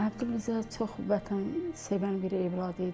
Əbdülrəza çox vətənsevən bir övlad idi.